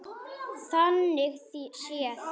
Þannig séð.